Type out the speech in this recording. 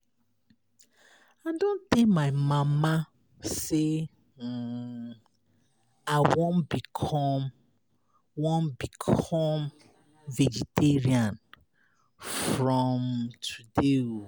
I don tell my mama say um I wan become wan become vegetarian from um today.